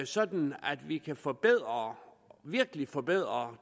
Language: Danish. sådan at vi kan forbedre virkelig forbedre